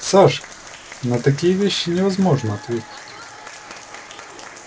сашка на такие вещи невозможно ответить